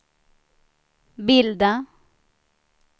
bilda